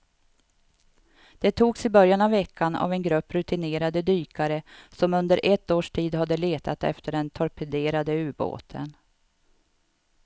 De togs i början av veckan av en grupp rutinerade dykare som under ett års tid har letat efter den torpederade ubåten.